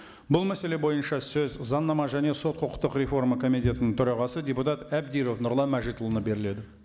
бұл мәселе бойынша сөз заңнама және сот құқықтық реформа комитетінің төрағасы депутат әбдіров нұрлан мәжитұлына беріледі